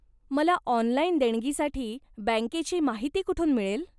मला ऑनलाइन देणगीसाठी बँकेची माहिती कुठून मिळेल?